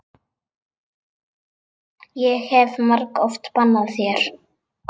Ég hef margoft bannað þér.